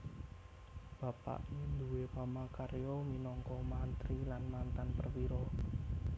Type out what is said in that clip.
Bapaké nduwé pamarkarya minangka mantri lan mantan perwira